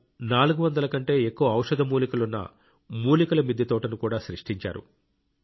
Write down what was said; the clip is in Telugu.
వారు 400 కంటే ఎక్కువ ఔషధ మూలికలున్న మూలికల మిద్దె తోటను కూడా సృష్టించారు